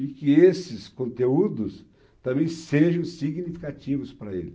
E que esses conteúdos também sejam significativos para ele.